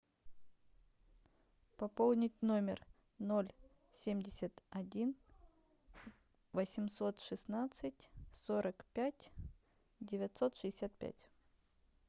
пополнить номер ноль семьдесят один восемьсот шестнадцать сорок пять девятьсот шестьдесят пять